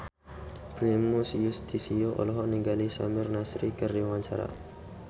Primus Yustisio olohok ningali Samir Nasri keur diwawancara